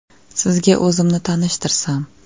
Sizga o‘zimni tanishtirsam.